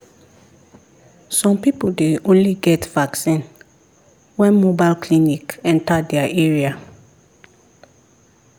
some people dey only get vaccine when mobile clinic enter their area.